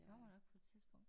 Kommer nok på et tidspunkt